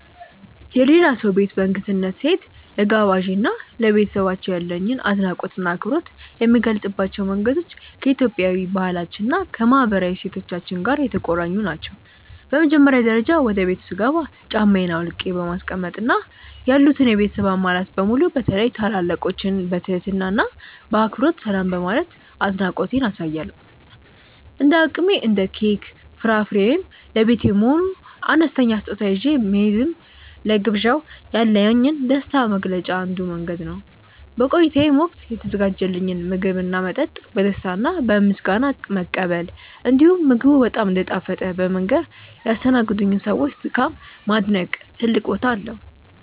የሌላ ሰው ቤት በእንግድነት ስሄድ፣ ለጋባዤ እና ለቤተሰባቸው ያለኝን አድናቆትና አክብሮት የምገልጽባቸው መንገዶች ከኢትዮጵያዊ ባህላችን እና ከማህበራዊ እሴቶቻችን ጋር የተቆራኙ ናቸው። በመጀመሪያ ደረጃ፣ ወደ ቤቱ ስገባ ጫማዬን አውልቄ በማስቀመጥ እና ያሉትን የቤተሰብ አባላት በሙሉ በተለይም ታላላቆችን በትህትና እና በአክብሮት ሰላም በማለት አድናቆቴን አሳያለሁ። እንደ አቅሜ እንደ ኬክ፣ ፍራፍሬ ወይም ለቤት የሚሆን አነስተኛ ስጦታ ይዤ መሄድም ለግብዣው ያለኝን ደስታ መግለጫ አንዱ መንገድ ነው። በቆይታዬም ወቅት የተዘጋጀልኝን ምግብና መጠጥ በደስታ እና በምስጋና መቀበል፣ እንዲሁም ምግቡ በጣም እንደጣፈጠ በመንገር ያስተናገዱኝን ሰዎች ድካም ማድነቅ ትልቅ ቦታ አለው።